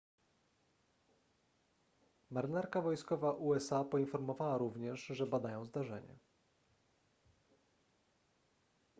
marynarka wojskowa usa poinformowała również że badają zdarzenie